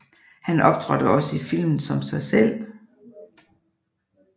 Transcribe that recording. Han optrådte også i filmen som sig selv